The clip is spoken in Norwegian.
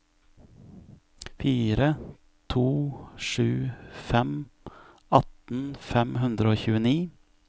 fire to sju fem atten fem hundre og tjueni